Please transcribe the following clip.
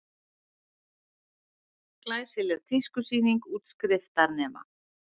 Glæsileg tískusýning útskriftarnema